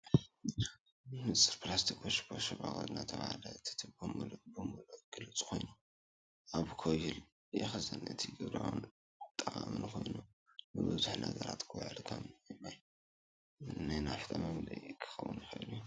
ንጹር ፕላስቲክ ቱቦ ወይ ሻምብቆ ዝተጠቕለለ ይረአ፣ እቲ ቱቦ ምሉእ ብምሉእ ግሉጽ ኮይኑ ኣብ ኮይል ይኽዘን። እዚ ግብራውን ጠቓምን ኮይኑ ንብዙሕ ነገራት ክውዕል ከም ንማይ፣ ንናፍጣ መምልኢ ክኸውን ዝኽእል እዩ።